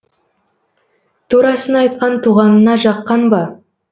турасын айтқан туғанына жаққан ба